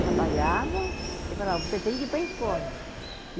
Trabalhava e falava, você tem que ir para a escola.